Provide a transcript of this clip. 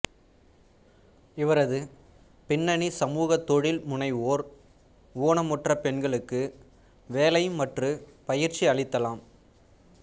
இவரது பின்னணி சமூக தொழில்முனைவோர் ஊனமுற்ற பெண்களுக்கு வேலை மற்றும் பயிற்சி அளித்தலாம்